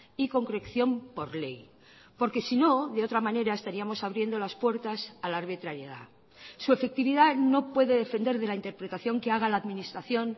y concreción por ley porque sino de otra manera estaríamos abriendo las puertas a la arbitrariedad su efectividad no puede defender de la interpretación que haga la administración